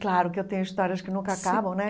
Claro que eu tenho histórias que nunca sim acabam, né?